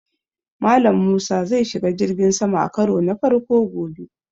Mallam Musa zai shiga jirgin sama a karo na farko gobe